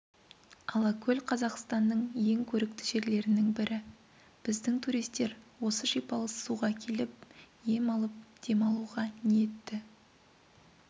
алакөл қазақстанның ең көрікті жерлерінің бірі біздің туристер осы шипалы суға келіп ем алып демалуға ниетті